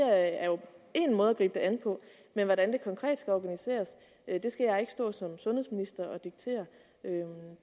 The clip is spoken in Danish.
er jo én måde at gribe det an på men hvordan det konkret skal organiseres skal jeg ikke stå som sundhedsminister og diktere